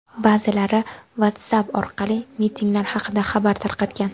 Ba’zilari WhatsApp orqali mitinglar haqida xabar tarqatgan.